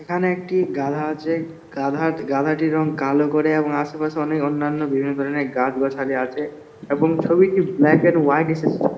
এখানে একটি গাধা আছে। গাধা গাধাটির রং কালো করে এবং আশেপাশে অনেক অন্যান্য বিভিন্ন ধরণের গাছ গাছালি আছে এবং ছবিটি ব্ল্যাক এন্ড হোয়াইট এসেছে।